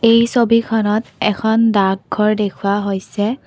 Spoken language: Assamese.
এই ছবিখনত এখন ডাকঘৰ দেখুওৱা হৈছে।